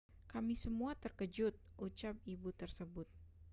kami semua terkejut ucap ibu tersebut